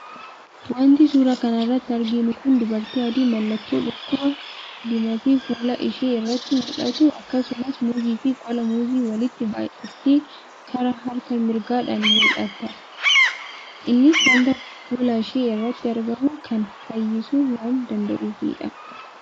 Wanti suuraa kana irratti arginu kun dubartii adii mallattoo dhukkubaa diimatee fuula ishee irratti mullatu, akkasumas, muuzii fi qola muuzii waliitti baayyatee karaa harka mirgaadhaan mullata. Innis wanta fuulashee irratti argamu kana fayyisuu waan danda'uufidha.